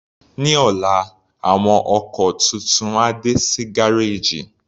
Ní ọ̀la, àwọn ọkọ̀ tuntun á dé sí gárèjì.